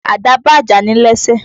Àdá ba àjàní lẹ́sẹ̀.